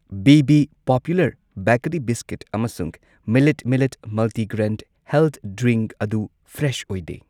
B B popular bakery biscuit ꯑꯃꯁꯨꯡ ꯃꯤꯂꯥꯏꯠ millet multigrain health drink ꯑꯗꯨ ꯐ꯭ꯔꯦꯁ ꯑꯣꯏꯗꯦ꯫